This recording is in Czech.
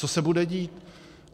Co se bude dít.